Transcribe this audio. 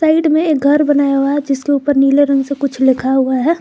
में एक घर बनाया हुआ है जिसके ऊपर नीले रंग से कुछ लिखा हुआ है।